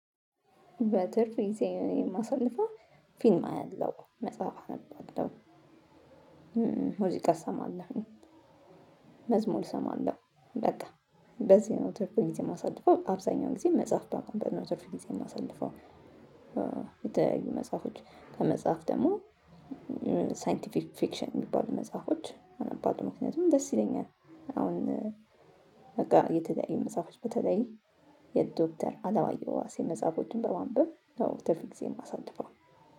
በትርፍ ጊዜ የማሳልፈው ፊልም አያለሁ መጽሐፍ አነባለሁ። ሙዚቃ እሰማለሁ መዝሙር እሰማለሁ በቃ በዚህ ነው ትርፍ ጊዜ የማሳልፈው አብዛኛው ጊዜ መጽሐፍ በማንበብ ነው ትርፍ ጊዜ የማሳድፈው። የተያዩ መጽሐፎች ከመጽሐፍ ደግሞ ሳይንቲፊክ ፊክሽን የሚባሉ መጽሐፎች አነባለሁ። ምክንያቱም ደስ ይለኛል አሁን በቃ የተለያዩ መጽሐፎች በተለይ የዶክተር አለማየሁ ዋሴ መጽሐፎችን በማንበብ ነው ትርፍ ጊዜዬን የማሳልፈው።